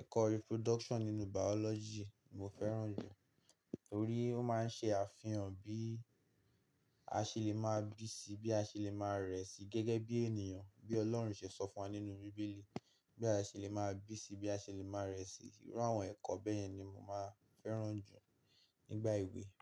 Ẹ̀kọ́ Reproduction nínú Biology mo fẹ́ràn jù. Torí ó máa ń ṣe àfihàn bí a ṣe lè máa bí sí i, bí a ṣe lè máa rẹ̀ sí i gẹ́gẹ́ bí ènìyàn, bí Ọlọ́run ṣe sọ fún wa nínú bíbélì, bí a ṣe lè máa bí sí i, bí a ṣe lè máa rẹ̀ sí i. Irú àwọn ẹ̀kọ́ bẹ́yen ni mo máa ń fẹ́ràn jù nígbà ìwé.